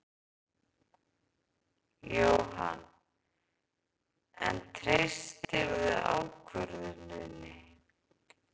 Jóhann: En treystirðu ákvörðuninni?